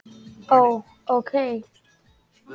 Ó. ókei